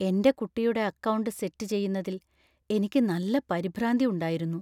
എന്‍റെ കുട്ടിയുടെ account set ചെയ്യുന്നതിൽ എനിക്ക് നല്ല പരിഭ്രാന്തി ഉണ്ടായിരുന്നു .